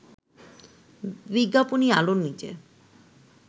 বিজ্ঞাপনি আলোর নিচে